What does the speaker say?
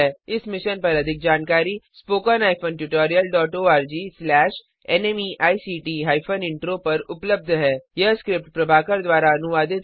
इस मिशन पर अधिक जानकारी spoken hyphen tutorial dot org slash NMEICT hyphen intro पर उपलब्ध है यह स्क्रिप्ट प्रभाकर द्वारा अनुवादित है